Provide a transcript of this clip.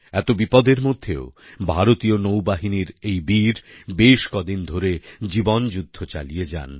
এত বিপদের মধ্যেও ভারতীয় নৌবাহিনীর এই বীর বেশ কদিন ধরে জীবনযুদ্ধ চালিয়ে যান